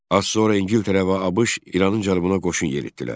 Az sonra İngiltərə və ABŞ İranın cənubuna qoşun yeritdilər.